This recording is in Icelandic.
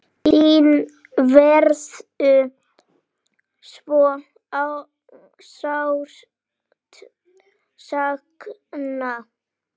Þín verður svo sárt saknað.